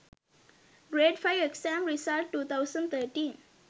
grade 5 exam result 2013